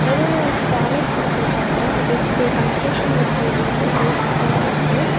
நடுவுல வந்து பேலஸ் குடுத்துருக்காங்க. அதுக்கு கன்ஸ்ட்ரக்ஷன் வொர்க் போயிட்டு இருக்கு நறைய கட்டலா இருக்கு.